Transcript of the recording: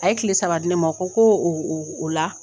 A ye kile saba di ne ma a ko ko ola